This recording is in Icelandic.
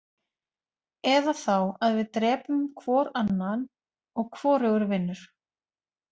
Eða þá að við drepum hvor annan og hvorugur vinnur.